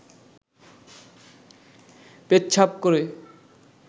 পেচ্ছাব করে